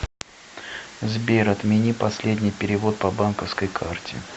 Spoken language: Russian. сбер отмени последний перевод по банковской карте